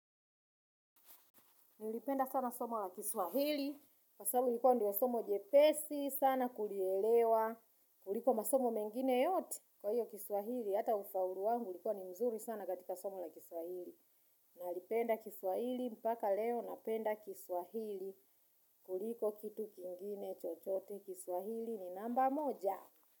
Nalipenda sana somo la kiswahili. Kwa sababu ilikuwa ndiyo somo jepesi, sana kulielewa. Kuliko masomo mengine yote. Kwa hiyo kiswahili, hata ufaulu wangu ulikuwa ni mzuri sana katika somo la kiswahili. Nalipenda kiswahili, mpaka leo napenda kiswahili. Kuliko kitu kingine chochote. Kiswahili ni namba moja.